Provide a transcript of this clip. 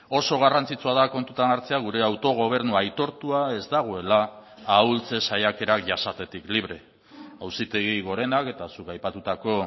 oso garrantzitsua da kontutan hartzea gure autogobernu aitortua ez dagoela ahultze saiakerak jasatetik libre auzitegi gorenak eta zuk aipatutako